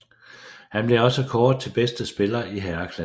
Han blev også kåret til bedste spiller i herreklassen